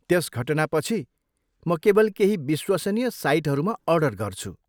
त्यस घटनापछि, म केवल केही विश्वसनीय साइटहरूमा अर्डर गर्छु।